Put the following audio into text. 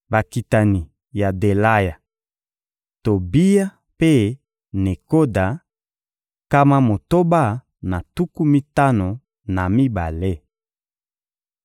Bakitani ya Delaya, Tobiya mpe Nekoda: nkama motoba na tuku mitano na mibale.